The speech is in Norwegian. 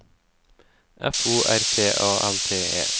F O R T A L T E